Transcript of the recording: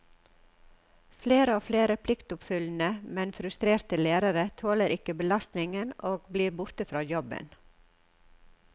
Flere og flere pliktoppfyllende, men frustrerte lærere tåler ikke belastningen og blir borte fra jobben.